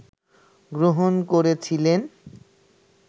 গ্রহণ করেছিলেন